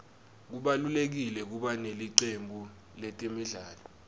kubalulekile kuba nelicembu letemidlalo